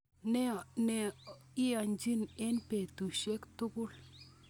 Neoechin en betusiek tukul.